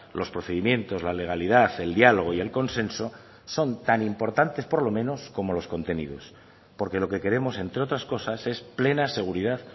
los procedimientos la legalidad el diálogo y el consenso son tan importantes por lo menos como los contenidos porque lo que queremos entre otras cosas es plena seguridad